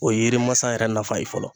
O ye yiri masa yɛrɛ nafa ye fɔlɔ.